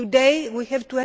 Today we have